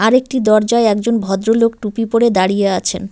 একটি দরজায় একজন ভদ্রলোক টুপি পরে দাঁড়িয়ে আছেন।